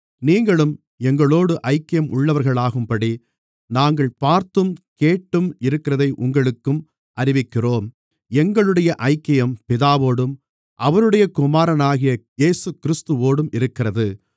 நீங்களும் எங்களோடு ஐக்கியம் உள்ளவர்களாகும்படி நாங்கள் பார்த்தும் கேட்டும் இருக்கிறதை உங்களுக்கும் அறிவிக்கிறோம் எங்களுடைய ஐக்கியம் பிதாவோடும் அவருடைய குமாரனாகிய இயேசுகிறிஸ்துவோடும் இருக்கிறது